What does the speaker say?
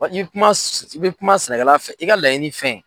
I bɛ kuma i bɛ kuma sɛnɛkɛla fɛ, i ka laɲini fɛn.